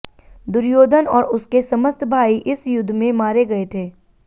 दुर्योधन और उसके समस्त भाई इस युद्ध में मारे गये थे